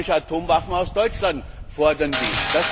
Atomwaffen aus Deutschland fordern will.